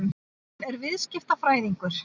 Hann er viðskiptafræðingur.